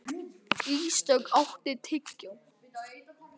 Ísdögg, áttu tyggjó?